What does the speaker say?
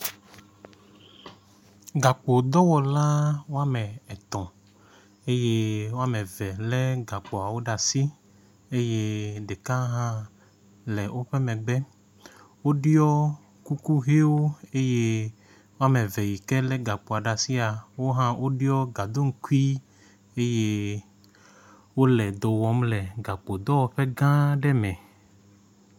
gakpo dɔwɔla woame etɔ̃ eye waomeve le gakpoawo ɖasi eye ɖeka hã le wóƒe megbe woɖiɔ kuku hɛwo eye woameve yike le gakpoa ɖasia wohã woɖiɔ gaɖoŋkui eye wóle dɔwɔm le gakpo dɔwɔƒe gã aɖɛ mɛ